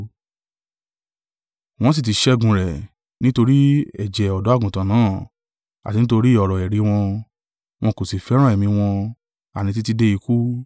Wọ́n sì ti ṣẹ́gun rẹ̀ nítorí ẹ̀jẹ̀ ọ̀dọ́-àgùntàn náà, àti nítorí ọ̀rọ̀ ẹ̀rí wọn, wọn kò sì fẹ́ràn ẹ̀mí wọn àní títí dé ikú.